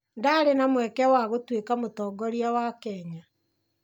Ndarĩ na mweke wa gũtuĩka mũtongoria wa Kenya